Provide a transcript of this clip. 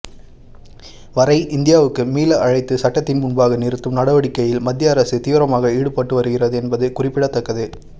வரை இந்தியாவுக்கு மீள அழைத்து சட்டத்தின் முன்பாக நிறுத்தும் நடவடிக்கைகளில் மத்திய அரசு தீவிரமாக ஈடுபட்டு வருகிறது என்பது குறிப்பிடத்தக்கது